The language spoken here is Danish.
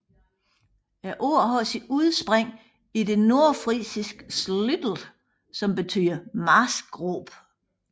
Ordet har sit udspring i det nordfrisiske slüütj som betyder marskgrøft